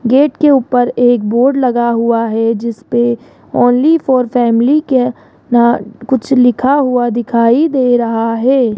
Gate के ऊपर एक बोर्ड लगा हुआ है जिसपे ओन्ली फॉर फैमिली के अ कुछ लिखा हुआ दिखाई दे रहा है।